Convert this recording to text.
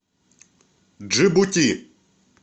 джибути